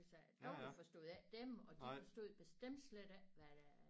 Altså de forstod ikke dem og de forstod bestemt slet ikke hvad der